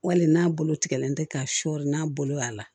Wali n'a bolo tigɛlen tɛ ka sɔɔri n'a bolo y'a la